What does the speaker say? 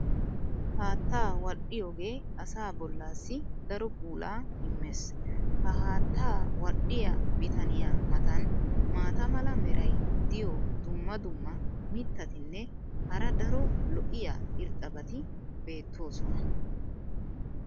haattaa wadhdhiyoogee asaa bolaassi daro puulaa immees. ha haattaa wadhdhiya bitaniya matan maata mala meray diyo dumma dumma mitatinne hara daro lo'iya irxxabati beetoosona.